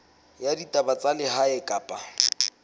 ya ditaba tsa lehae kapa